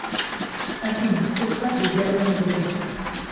афина какой стаж у германа грефа